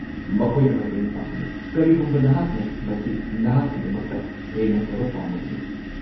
ꯃꯈꯣꯏꯗ ꯃꯇꯦꯡ ꯄꯥꯡꯕꯤꯌꯨ, ꯀꯔꯤꯒꯨꯝꯕ ꯅꯍꯥꯛꯅ ꯃꯁꯤ ꯅꯍꯥꯛꯀꯤꯗꯃꯛꯇ ꯍꯦꯟꯅ ꯐꯕ ꯄꯥꯝꯂꯕꯗꯤ꯫